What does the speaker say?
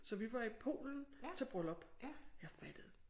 Så vi var i Polen til bryllup. Jeg fattede